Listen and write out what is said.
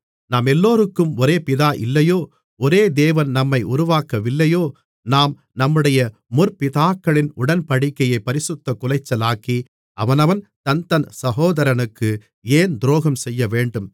நம்மெல்லோருக்கும் ஒரே பிதா இல்லையோ ஒரே தேவன் நம்மை உருவாக்கவில்லையோ நாம் நம்முடைய முற்பிதாக்களின் உடன்படிக்கையைப் பரிசுத்தக்குலைச்சலாக்கி அவனவன் தன்தன் சகோதரனுக்கு ஏன் துரோகம் செய்யவேண்டும்